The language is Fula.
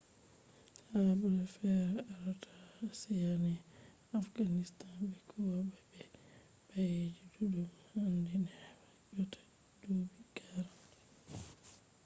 habre fe’ata ha ashiya ne afganistan be kuyuba be baeji ɗuɗɗum handi neɓa yotta duuɓi 40